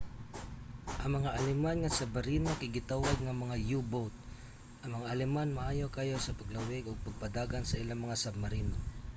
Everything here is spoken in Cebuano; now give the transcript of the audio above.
ang mga aleman nga submarino kay gitawag nga mga u-boat. ang mga aleman maayo kaayo sa paglawig ug pagpadagan sa ilang mga submarino